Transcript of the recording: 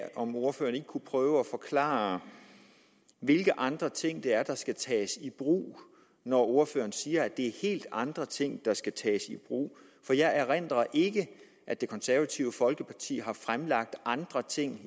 om ordføreren ikke kunne prøve at forklare hvilke andre ting der der skal tages i brug når ordføreren siger at det er helt andre ting der skal tages i brug jeg erindrer ikke at det konservative folkeparti i forhandlingssammenhænge har fremlagt andre ting